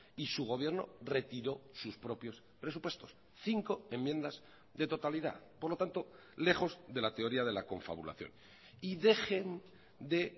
y su gobierno retiró sus propios presupuestos cinco enmiendas de totalidad por lo tanto lejos de la teoría de la confabulación y dejen de